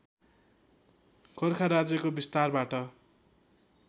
गोरखा राज्यको विस्तारबाट